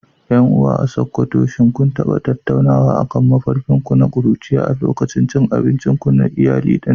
Yan uwa a sokoto shin kun taba tattaunawa akan mafarkin ku na kuruciya a lokacin cin abincin iyali na dare?